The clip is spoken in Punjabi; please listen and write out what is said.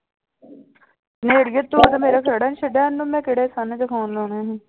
ਤੂੰ ਤਾਂ ਮੇਰਾ ਖਹਿੜਾ ਨੀ ਛੱਡਿਆ ਉਹਨੂੰ ਮੈਂ ਕਿਹੜੇ ਸੰਨ ਚ phone ਲਾਉਣੇੇ ਨੇ।